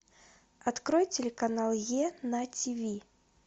открой телеканал е на тв